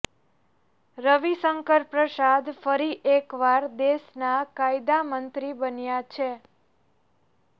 રવિશંકર પ્રસાદ ફરી એકવાર દેશના કાયદા મંત્રી બન્યા છે